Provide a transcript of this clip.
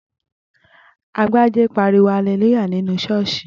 Agbájé pariwo haleluya nínú Sọ́ọ̀sì